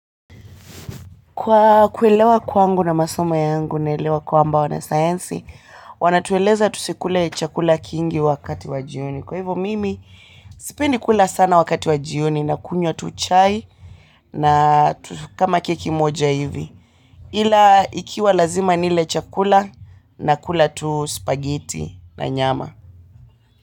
Kwa kuelewa kwangu na masoma yangu, naelewa kwamba wana sayansi, wanatueleza tusikule chakula kingi wakati wa jioni. Kwa hivyo mimi, sipendi kula sana wakati wa jioni na kunywa tu chai na kama keki moja hivi ila ikiwa lazima nile chakula, nakula tu, spaghetti na nyama.